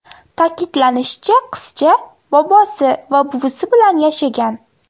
Ta’kidlanishicha, qizcha bobosi va buvisi bilan yashagan.